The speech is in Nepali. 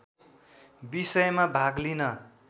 विषयमा भाग लिन